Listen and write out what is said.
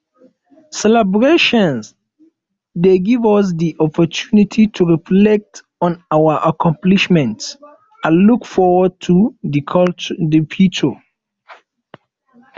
celebrations dey give us di opportunity to reflect on our accomplishments and look forward to di future